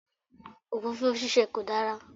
Òfófó ṣíṣe kò dára.